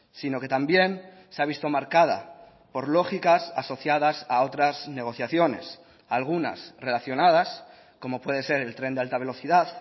sino que también se ha visto marcada por lógicas asociadas a otras negociaciones algunas relacionadas como puede ser el tren de alta velocidad